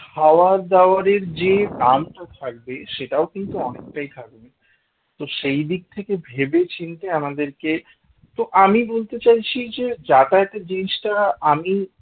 খাওয়া-দাওয়া এর যে দামটা থাকবে সেটাও কিন্তু অনেকটাই থাকবে তোর সেই দিক থেকে ভেবেচিন্তে আমাদেরকে তো আমি বলতে চাইছি যে যাতাযাতে জিনিসটা আমি